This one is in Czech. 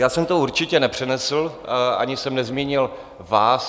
Já jsem to určitě nepřenesl ani jsem nezmínil vás.